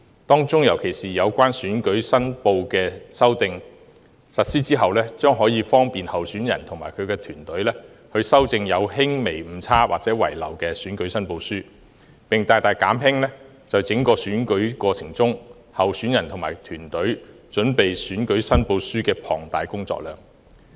當中有關選舉申報的修訂，若實施後，將可方便候選人及其團隊，修正有輕微誤差或遺漏的選舉申報書，並大大減輕在整個選舉過程中，候選人及其團隊準備選舉申報書的龐大工作量。